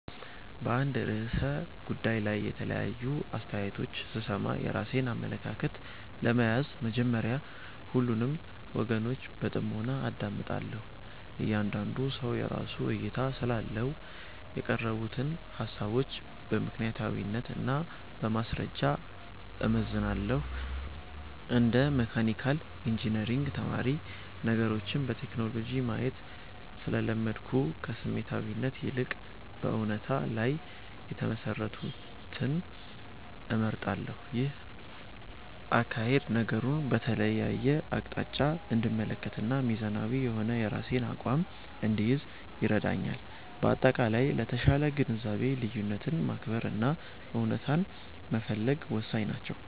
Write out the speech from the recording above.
በአንድ ርዕሰ ጉዳይ ላይ የተለያዩ አስተያየቶች ስሰማ፣ የራሴን አመለካከት ለመያዝ መጀመሪያ ሁሉንም ወገኖች በጥሞና አዳምጣለሁ። እያንዳንዱ ሰው የራሱ እይታ ስላለው፣ የቀረቡትን ሃሳቦች በምክንያታዊነት እና በማስረጃ እመዝናለሁ። እንደ መካኒካል ኢንጂነሪንግ ተማሪ፣ ነገሮችን በሎጂክ ማየት ስለለመድኩ፣ ከስሜታዊነት ይልቅ በእውነታ ላይ የተመሰረቱትን እመርጣለሁ። ይህ አካሄድ ነገሩን በተለያየ አቅጣጫ እንድመለከትና ሚዛናዊ የሆነ የራሴን አቋም እንድይዝ ይረዳኛል። በአጠቃላይ፣ ለተሻለ ግንዛቤ ልዩነትን ማክበር እና እውነታን መፈለግ ወሳኝ ናቸው።